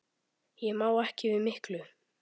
Ég má ekki við miklu.